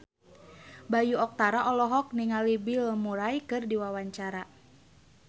Bayu Octara olohok ningali Bill Murray keur diwawancara